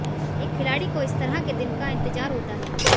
एक खिलाड़ी को इस तरह के दिन का इंतजार होता है